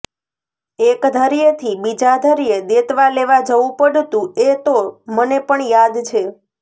એક ઘર્યેથી બીજા ઘર્યે દેતવા લેવા જવું પડતું એ તો મને પણ યાદ છે